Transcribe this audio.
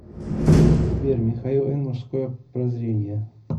сбер михаил н мужское прозрение